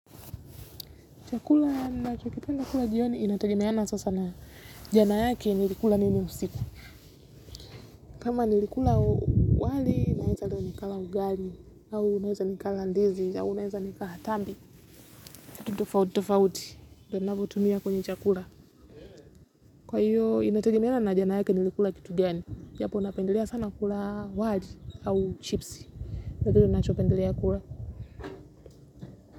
Chakula nachokipenda kula jioni inategemiana sasa na jana yake nilikula nini usiku. Kama nilikula wali naeza leo nikala ugali au unweza nikala ndizi au neza nikala tambi. Tutofauti, tutofauti, do navotumia kwenye chakula. Kwa hiyo inategemeana na jana yake nilikula kitu gani. Japo napendelea sana kula wali au chipsi. Natojo unapendelea kula.